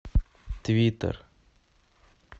твиттер